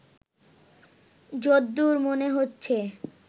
যদ্দুর মনে হচ্ছে